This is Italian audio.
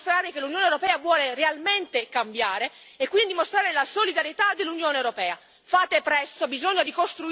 Questi sono i momenti in cui dobbiamo dimostrare che l'Unione europea vuole realmente cambiare e quindi mostrare la solidarietà dell'Unione europea.